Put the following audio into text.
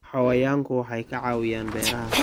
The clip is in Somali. Xayawaanku waxay ka caawiyaan beeraha.